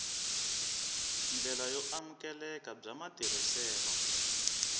ndlela yo amukeleka bya matirhiselo